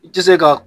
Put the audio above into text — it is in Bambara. I tɛ se ka